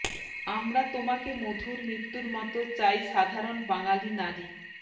আমরা তোমাকে মধুর মৃত্যুর মতো চাই সাধারণ বাঙালী নারী